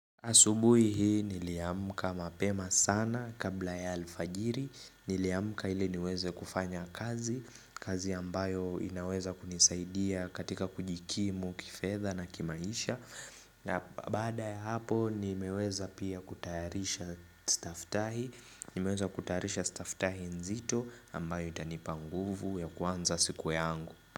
Asubuhi hii niliamuka mapema sana kabla ya alfajiri, niliyamuka ile niweze kufanya kazi, kazi ambayo inaweza kunisaidia katika kujikimu, kifedha na kimaisha na baada ya hapo nimeweza pia kutayarisha staftahi, nimeweza kutayarisha staftahi nzito ambayo itanipa nguvu ya kuanza siku yangu.